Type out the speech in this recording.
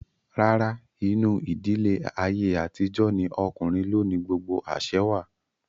Rárá, inú ìdílé ayé àtijó ní okùnrin ló ni gbogbo àsẹ wà